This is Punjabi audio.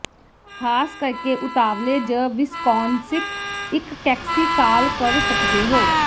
ਖ਼ਾਸ ਕਰਕੇ ਉਤਵਾਲੇ ਜ ਵਿਸਕੌਨਸਿਨ ਇਕ ਟੈਕਸੀ ਕਾਲ ਕਰ ਸਕਦੇ ਹੋ